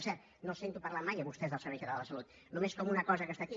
per cert no els sento parlar mai a vostès del servei català de la salut només com una cosa que està aquí